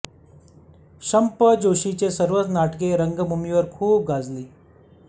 शं प जोशींच सर्वच नाटके रंगभूमीवर खूप गाजली